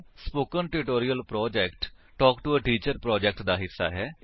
spoken tutorial project talk to a teacher project ਦਾ ਹਿੱਸਾ ਹੈ